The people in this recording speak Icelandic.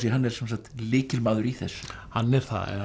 hann er sem sagt lykilmaður í þessu hann er það